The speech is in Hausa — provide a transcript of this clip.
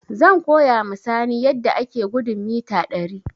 Zan koya ma Sani yadda ake gudun mita ɗari